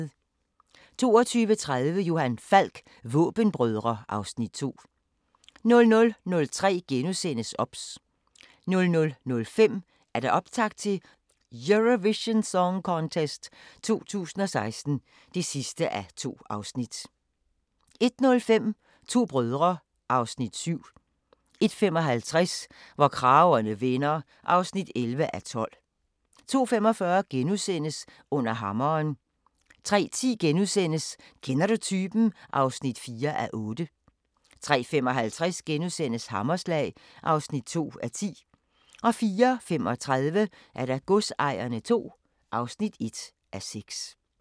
22:30: Johan Falk: Våbenbrødre (Afs. 2) 00:03: OBS * 00:05: Optakt til Eurovision Song Contest 2016 (2:2) 01:05: To brødre (Afs. 7) 01:55: Hvor kragerne vender (11:12) 02:45: Under hammeren * 03:10: Kender du typen? (4:8)* 03:55: Hammerslag (2:10)* 04:35: Godsejerne II (1:6)